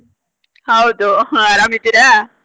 ಹೌದು ಆರಾಮ್ ಇದ್ದೀರಾ?